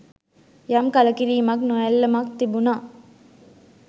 යම් කලකිරීමක් නොඇල්ලමක් තිබුණා.